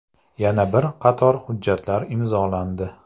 Yana bir qator hujjatlar imzolandi.